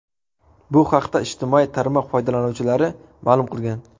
Bu haqda ijtimoiy tarmoq foydalanuvchilari ma’lum qilgan.